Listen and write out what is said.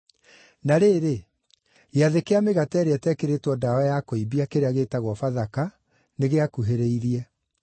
Na rĩrĩ, Gĩathĩ kĩa Mĩgate ĩrĩa Ĩtekĩrĩtwo Ndawa ya Kũimbia, kĩrĩa gĩĩtagwo Bathaka, nĩgĩakuhĩrĩirie,